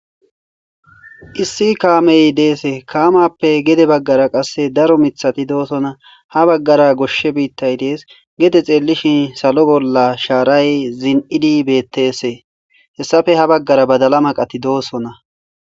issi kaamey deese kaamappe gede baggara qasse daro mithati doosona ha baggara goshshe biittay dees gede xeellishin salo bolla shaaray zin7idi bettesee hessafe ha baggara badala maqati doosona